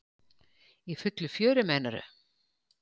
Í fullu fjöri, meinarðu?